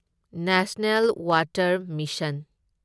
national water mission